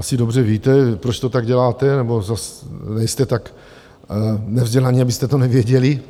Asi dobře víte, proč to tak děláte, nebo zas nejste tak nevzdělaní, abyste to nevěděli.